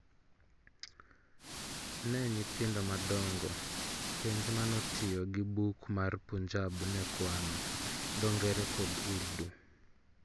Ne nyithindo madongo, penj manotiyo gi buk ma Punjab ne kwano, dho ngere kod Urdu